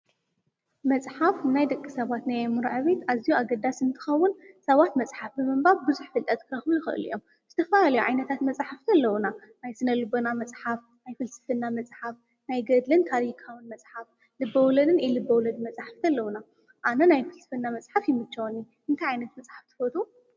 መጽሓፍ ናይ ደቂ ሰባት ናይ ምረዐቤይት ኣዚዩ ኣገዳ ስንትኸውን ሰዋት መጽሓፍ ብመንባብ ብዙኅ ፍልጠት ክረኹ ይኸሉ እዮም ።ስተፋ ኣልዮ ዓይነታት መጽሕፍቲ ኣለዉና ናይ ስነ-ልበና መጽሓፍ ናይ ፍልስፍና መጽሓፍ ናይ ገድልን ታሪካውን መጽሓፍ ልበውለድን ኢሉበውለድ መጽሕፍቲ ኣለዉና ኣነ ናይ ፍልስፍና መጽሓፍ ይምችወኒ እንተ ዓይነት መጽሓፍ ትፈቱ።